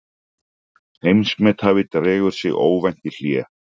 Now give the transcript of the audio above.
Heimsmethafi dregur sig óvænt í hlé